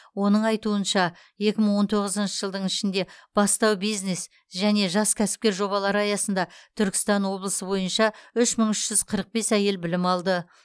оның айтуынша екі мың он тоғызыншы жылдың ішінде бастау бизнес және жас кәсіпкер жобалары аясында түркістан облысы бойынша үш мың үш жүз қырық бес әйел білім алды